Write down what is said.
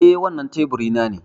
Eh. Wannan teburi na ne.